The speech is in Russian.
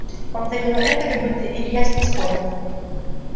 повторила это как будто илья с ней спорил